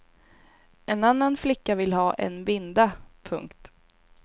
En annan flicka vill ha en binda. punkt